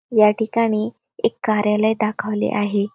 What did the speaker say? या ठिकाणी एक कार्यालय दाखवले आहे.